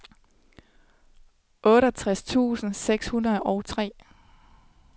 otteogtres tusind seks hundrede og tre